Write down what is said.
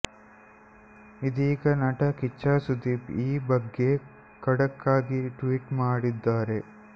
ಇದೀಗ ನಟ ಕಿಚ್ಚ ಸುದೀಪ್ ಈ ಬಗ್ಗೆ ಖಡಕ್ ಆಗಿ ಟ್ವೀಟ್ ಮಾಡಿದ್ದಾರೆ